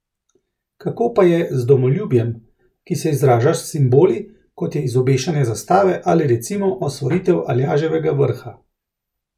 Kako pa je z domoljubjem, ki se izraža s simboli, kot je izobešanje zastave ali recimo osvojitev Aljaževega vrha?